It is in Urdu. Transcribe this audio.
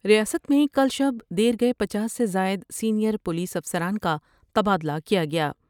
ریاست میں کل شب دیے گئے پنچاس سے زائد سینئر پولیس افسران کا تبادلہ کیا گیا ۔